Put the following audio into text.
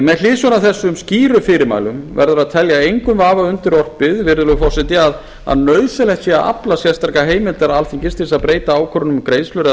með hliðsjón af þessum skýru fyrirmælum verður að telja engum vafa undirorpið virðulegi forseti að nauðsynlegt sé að afla sérstakrar heimildar alþingis til þess að breyta ákvörðunum um greiðslur eða